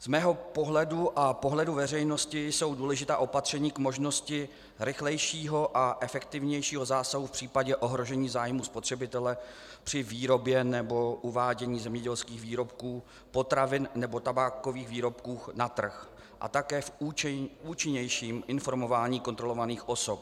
Z mého pohledu a pohledu veřejnosti jsou důležitá opatření k možnosti rychlejšího a efektivnějšího zásahu v případě ohrožení zájmu spotřebitele při výrobě nebo uvádění zemědělských výrobků, potravin nebo tabákových výrobků na trh, a také v účinnějším informování kontrolovaných osob.